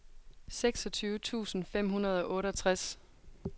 seksogtyve tusind fem hundrede og otteogtres